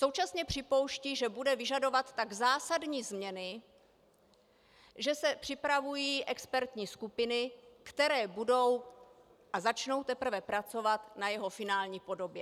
Současně připouští, že bude vyžadovat tak zásadní změny, že se připravují expertní skupiny, které budou a začnou teprve pracovat na jeho finální podobě.